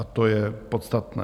A to je podstatné.